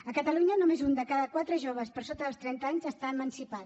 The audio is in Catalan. a catalunya només un de cada quatre joves per sota dels trenta anys està emancipat